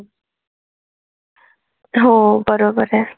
हो बरोबर आहे.